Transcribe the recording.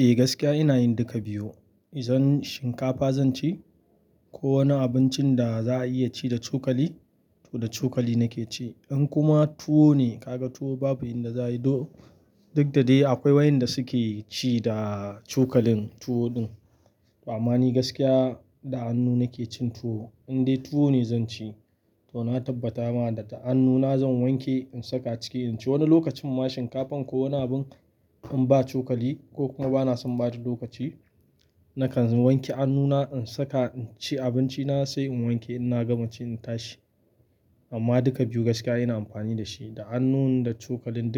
Eh gaskiya ina yin duka biyu. Idan shinkafa zan ci ko wani abincin da za a iya ci da cokali, to da cokali nake ci. In kuma tuwo ne, ka ga tuwo babu inda za a yi, duk da dai akwai wayanda suke ci da cokalin tuwo din. Amma ni gaskiya da hannu na ke cin tuwo, in dai tuwo ne zan ci to na tabbata ma da ta hannuna zan wanke in saka cike in ci. Wani lokacin ma shinkafan ko wani abin in ba cokali ko kuma bana son ɓata lokaci nakan wanke hannuna in saka in ci abinci na sai in wanke ina gama ci na tashi. Amma duka biyu gaskiya ina amfani da shi. Da hannun da cokalin